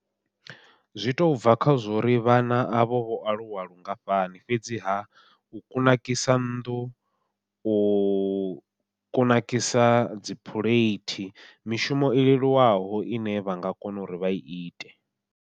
Zwi to bva kha zwo uri vhana avho vho aluwa lungafhani fhedziha u kunakisa nnḓu, u kunakisa dzi phuleithi, mishumo i leluwaho ine vha nga kona uri vha ite.